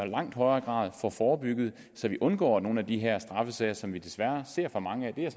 langt højere grad får forebygget så vi undgår nogle af de her straffesager som vi desværre ser for mange af det er